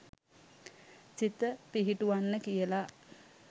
සිත පිහිටුවන්න කියලා